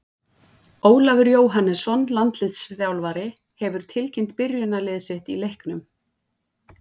Ólafur Jóhannesson, landsliðsþjálfari, hefur tilkynnt byrjunarlið sitt í leiknum.